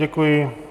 Děkuji.